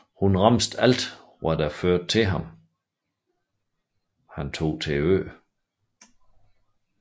Hun remsede alt hvad der førte til han tog til øen